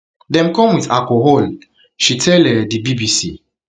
dem come wit alcohol she tell um di bbc